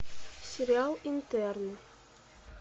сериал интерны